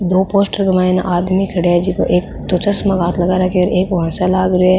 दो पोस्टर के मायने आदमी खड़ेया है जेको एक तो चश्मा के हाथ लगा राख्यो है एक ओ हसन लाग रियो है।